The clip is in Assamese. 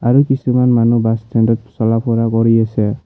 আৰু কিছুমান মানুহ বাছ ষ্টেণ্ড ত চলা ফুৰা কৰি আছে।